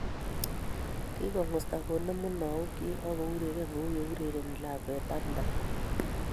Kingongusta konem munaok chi akourerene kouye urereni lakwet tamtam